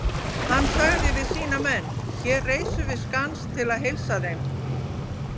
Hann sagði við sína menn:-Hér reisum við skans til að heilsa þeim!